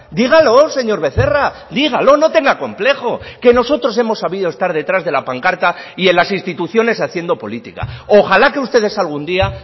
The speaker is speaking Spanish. dígalos señor becerra dígalo no tenga complejo que nosotros hemos sabido estar detrás de la pancarta y en las instituciones haciendo política ojala que ustedes algún día